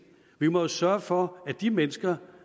vi må jo sørge for at de mennesker